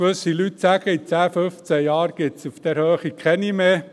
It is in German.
Gewisse Leute sagen, in zehn, fünfzehn Jahren gebe es diese auf dieser Höhe nicht mehr.